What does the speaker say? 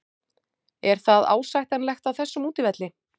Er það ásættanlegt á þessum útivelli?